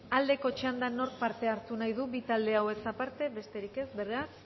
aldeko txandan nork parte hartu nahi du bi talde hauez aparte besterik ez beraz